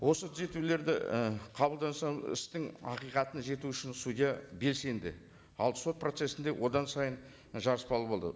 осы түзетулерді і қабылдаса істің ақиқатына жету үшін судья белсенді ал сот процессінде одан сайын жарыспалы болды